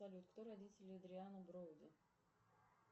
салют кто родители эдриана броуди